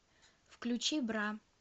включи бра